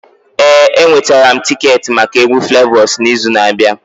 Ee, enwetara m tiketi maka egwu Flavors n'izu na-abịa